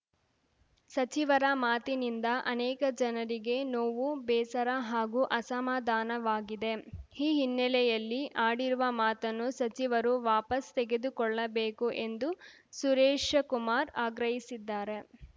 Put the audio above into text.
ಸಚಿವರ ಮಾತಿನಿಂದ ಅನೇಕ ಜನರಿಗೆ ನೋವು ಬೇಸರ ಹಾಗೂ ಅಸಮಾಧಾನವಾಗಿದೆ ಈ ಹಿನ್ನೆಲೆಯಲ್ಲಿ ಆಡಿರುವ ಮಾತನ್ನು ಸಚಿವರು ವಾಪಸ್‌ ತೆಗೆದುಕೊಳ್ಳಬೇಕು ಎಂದು ಸುರೇಶಕುಮಾರ್‌ ಆಗ್ರಹಿಸಿದ್ದಾರೆ